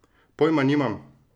Pojma nimam!